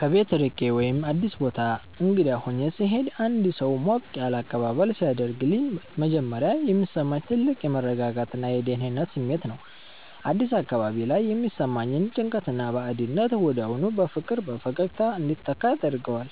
ከቤት ርቄ ወይም አዲስ ቦታ እንግዳ ሆኜ ስሄድ አንድ ሰው ሞቅ ያለ አቀባበል ሲያደርግልኝ መጀመሪያ የሚሰማኝ ትልቅ የመረጋጋትና የደህንነት ስሜት ነው። አዲስ አካባቢ ላይ የሚሰማኝን ጭንቀትና ባዕድነት ወዲያውኑ በፍቅርና በፈገግታ እንዲተካ ያደርገዋል።